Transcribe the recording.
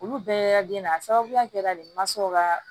Olu bɛɛ den na a sababuya kɛra de mansaw ka